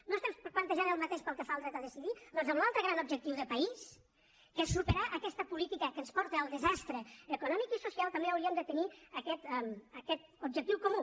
no estem plantejant el mateix pel que fa al dret a decidir doncs amb l’altre gran objectiu de país que és superar aquesta política que ens porta al desastre econòmic i social també hauríem de tenir aquest objectiu comú